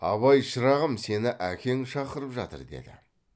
абай шырағым сені әкең шақырып жатыр деді